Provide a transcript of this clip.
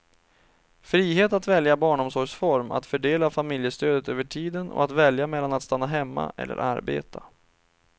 Frihet att välja barnomsorgsform, att fördela familjestödet över tiden och att välja mellan att stanna hemma eller arbeta.